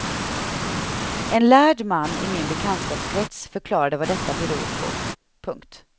En lärd man i min bekantskapskrets förklarade vad detta beror på. punkt